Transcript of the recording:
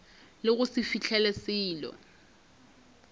le go se fihle selo